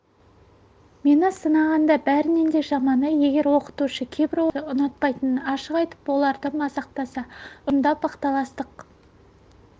мені сынағанда бәрінен де жаманы егер оқытушы кейбір оқушыларды ұнатпайтынын ашық айтып оларды мазақтаса ұжымда бақталастық